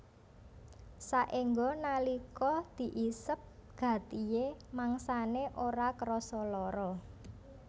Saéngga nalika diisep gatihé mangsané ora krasa lara